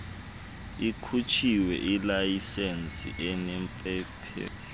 ikhutshiwe ilayisensi enepemethe